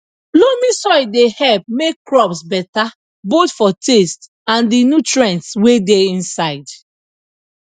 loamy soil dey help make crops beta both for taste and di nutrients wey dey inside